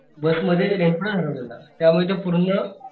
बस मध्ये हेडफोन हरवलेला त्यामुळे ते पूर्ण